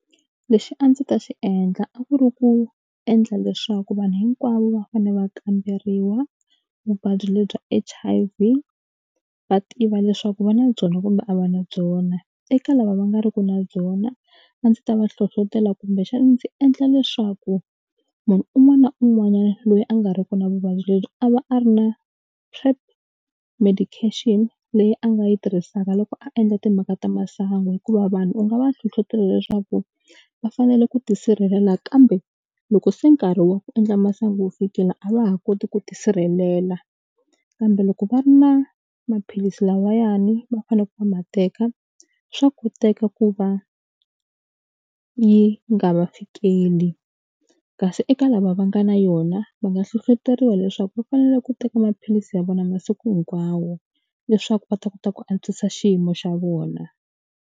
Lexi a ndzi ta xi endla a ku ri ku endla leswaku vanhu hinkwavo va fanele va kamberiwa vuvabyi lebyi H_I_V va tiva leswaku va na byona kumbe a va na byona eka lava va nga ri ki na byona a ndzi ta va hlohlotela kumbexani ndzi endla leswaku munhu un'wana na un'wanyani loyi a nga ri ku na vuvabyi lebyi a va a ri na PrEP medication leyi a nga yi tirhisaka loko a endla timhaka ta masangu hikuva vanhu u nga va hlohlotela leswaku va fanele ku tisirhelela kambe loko se nkarhi wa ku endla masangu wu fikile a va ha koti ku tisirhelela kambe loko va ri na maphilisi lavayani va faneleke va ma teka swa koteka ku va yi nga va fikeli kasi eka lava va nga na yona va nga hlohloteriwa leswaku va fanele ku teka maphilisi ya vona masiku hinkwawo leswaku va ta kota ku antswisa xiyimo xa vona.